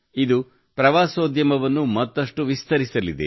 ಇದು ಪ್ರವಾಸೋದ್ಯಮವನ್ನು ಮತ್ತಷ್ಟು ವಿಸ್ತರಿಸಲಿದೆ